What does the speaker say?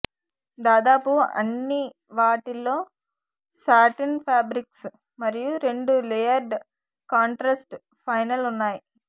దాదాపు అన్ని వాటిలో శాటిన్ ఫాబ్రిక్స్ మరియు రెండు లేయర్డ్ కాంట్రాస్ట్ ఫైనల్ ఉన్నాయి